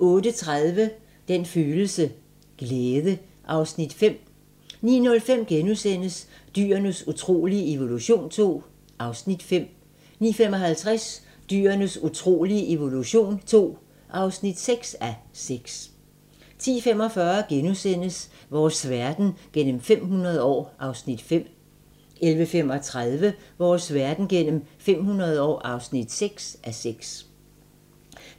08:30: Den følelse: Glæde (Afs. 5) 09:05: Dyrenes utrolige evolution II (5:6)* 09:55: Dyrenes utrolige evolution II (6:6) 10:45: Vores verden gennem 500 år (5:6)* 11:35: Vores verden gennem 500 år (6:6)